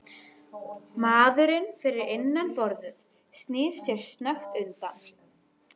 Maðurinn fyrir innan borðið snýr sér snöggt undan.